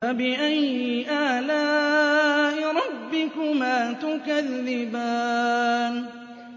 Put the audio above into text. فَبِأَيِّ آلَاءِ رَبِّكُمَا تُكَذِّبَانِ